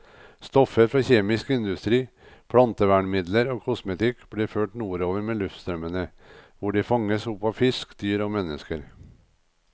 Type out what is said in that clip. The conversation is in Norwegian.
Stoffer fra kjemisk industri, plantevernmidler og kosmetikk blir ført nordover med luftstrømmene, hvor de fanges opp av fisk, dyr og mennesker.